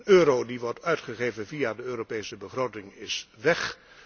Een euro die wordt uitgegeven via de Europese begroting is weg.